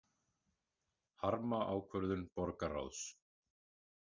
Harma ákvörðun borgarráðs